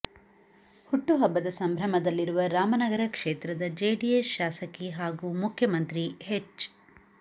ಹುಟ್ಟುಹಬ್ಬದ ಸಂಭ್ರಮದಲ್ಲಿರುವ ರಾಮನಗರ ಕ್ಷೇತ್ರದ ಜೆಡಿಎಸ್ ಶಾಸಕಿ ಹಾಗೂ ಮುಖ್ಯಮಂತ್ರಿ ಹೆಚ್